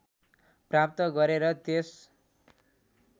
प्राप्त गरे र त्यस